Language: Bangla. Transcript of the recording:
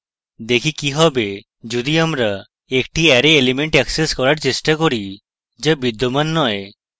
দেখি কি হবে যদি আমরা একটি অ্যারে element অ্যাক্সেস করার চেষ্টা করি যা বিদ্যমান নয়